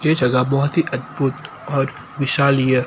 ये जगह बहोत ही अद्भुत और विशालीय--